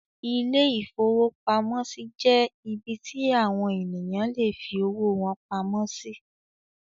Ilé-ìfowópamọ́sí jẹ́ ibí tí àwon ènìyàn lè fi owó wọn pamọ́ sí